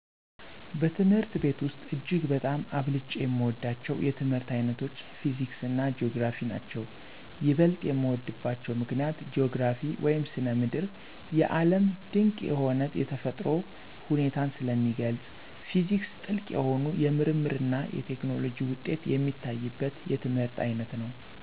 በትምህርት ቤት ውሰጥ እጅግ በጣም አብልጨ የምወዳቸው የትምህርት ዓይነቶች ፊዚክስና ጂኦግራፊ ናቸዉ። ይበልጥ የምወድባቸው ምክንያት ጂኦግራፊ ( ስነ ምድር ) የዓለም ድቅ የሆነ የተፈጥሮ ሁኔታን ስለሚገልጽ፤ ፊዚክስ ጥልቅ የሆኑ የምርምርና የቴክኖሎጂ ውጤት የሚታይበት የትምህርት ዓይነት ነው።